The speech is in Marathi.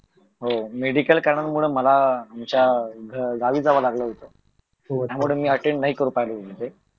हो मेडिकल कारणामुळे मला आमच्या गावी जावं लागलं होत त्यामुळे मी अटेन नाही करू शकलो ते